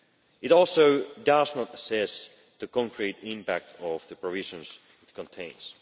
It also does not assess the concrete impact of the provisions it contains.